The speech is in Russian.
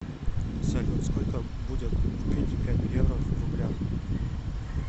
салют сколько будет купить пять евро в рублях